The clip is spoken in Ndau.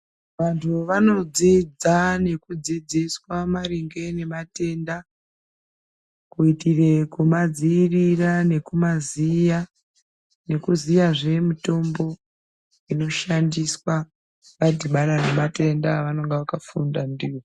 Vantu vanodzidza nekudzidziswa maringe nematenda kuitire kumadziirira nekumaziya, nekuziyazve mitombo inoshandiswa vadhibana nematenda avanenga vakafunda ndiwo.